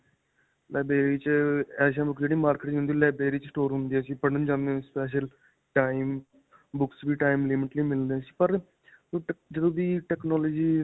Library 'ਚ ਅਅ ਐਸੀਆਂ books ਜਿਹੜੀਆਂ ਮਾਰਕੀਟ ਵਿੱਚ ਨਹੀਂ ਹੁੰਦੀਆਂ ਸੀ ਲਾਇਬ੍ਰੇਰੀ ਵਿੱਚ store ਹੁੰਦੀਆਂ ਸੀ. ਪੜ੍ਹਨ ਜਾਂਦੇ ਹੁੰਦੇ ਸੀ special time, books ਵੀ time ਲਿਮਟ ਲਈ ਮਿਲਦੀਆਂ ਸੀਪਰ ਜਦੋਂ ਦੀ technology.